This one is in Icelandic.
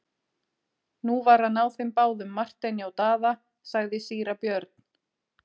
Nú var að ná þeim báðum Marteini og Daða, sagði síra Björn.